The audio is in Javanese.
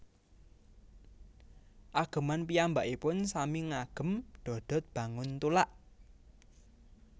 Ageman piyambakipun sami ngagem dodot banguntulak